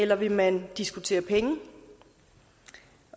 eller vil man diskutere penge